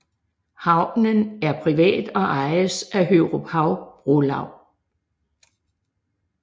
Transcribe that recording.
Havnen er privat og ejes af Høruphav Brolaug